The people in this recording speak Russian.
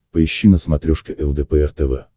поищи на смотрешке лдпр тв